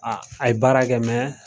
a ye baarakɛ